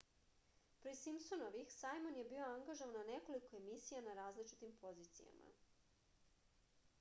pre simpsonovih sajmon je bio angažovan na nekoliko emisija na različitim pozicijama